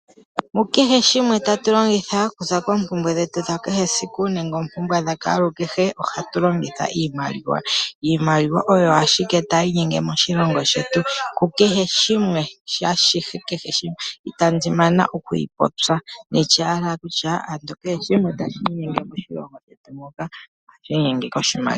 Mukehe shimwe tatu longitha okuza koompumbwe dhetu dhakehe esiku nenge oompumbwe dhakwaalukehe ohatu longitha iimaliwa. Iimaliwa oyo ashike tayi inyenge moshilongo shetu kukehe shimwe, ashihe kehe shimwe itandi mana okuyi popya nanditye owala kutya kehe shimwe tashi inyenge moshilongo shetu muka ohashi inyenge koshimaliwa.